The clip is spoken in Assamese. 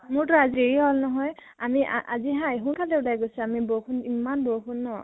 মোৰ তো আজি হেৰি হল ন ? আমি আ আজি হা, সোনকালে ওলাই গৈছো, আমি বৰষুণ, ইমান বৰষুণ ন